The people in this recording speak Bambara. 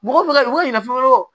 Mɔgɔ ɲinafo